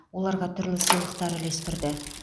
оларға түрлі сыйлықтар үлестірді